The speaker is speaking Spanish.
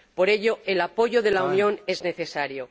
Por ello, el apoyo de la Unión es necesario.